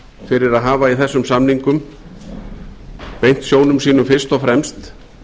fyrir að hafa í þessum samningum beint sjónum sínum fyrst og fremst